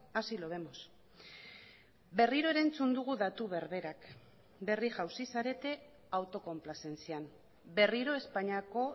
así lo vemos berriro ere entzun dugu datu berberak berri jauzi zarete autokonplazentzian berriro espainiako